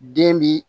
Den bi